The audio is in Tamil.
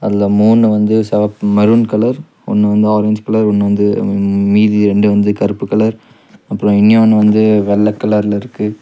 அதுல மூணு வந்து செவப் மெரூன் கலர் ஒன்னு வந்து ஆரஞ்சு கலர் ஒன்னு வந்து மீதி ரெண்டு வந்து கருப்பு கலர் அப்றோ இன்னியோன்னு வந்து வெள்ள கலர்ல இருக்கு.